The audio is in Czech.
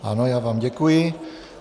Ano, já vám děkuji.